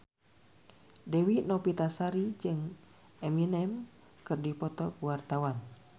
Dewi Novitasari jeung Eminem keur dipoto ku wartawan